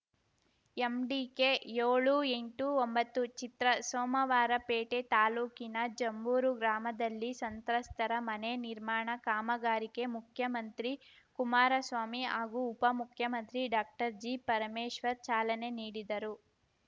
MDK ಯೋಳು ಎಂಟು ಒಂಬತ್ತು ಚಿತ್ರ ಸೋಮವಾರಪೇಟೆ ತಾಲೂಕಿನ ಜಂಬೂರು ಗ್ರಾಮದಲ್ಲಿ ಸಂತ್ರಸ್ತರ ಮನೆ ನಿರ್ಮಾಣ ಕಾಮಗಾರಿಕೆ ಮುಖ್ಯಮಂತ್ರಿ ಕುಮಾರಸ್ವಾಮಿ ಹಾಗೂ ಉಪ ಮುಖ್ಯಮಂತ್ರಿ ಡಾಕ್ಟರ್ಜಿ ಪರಮೇಶ್ವರ್‌ ಚಾಲನೆ ನೀಡಿದರು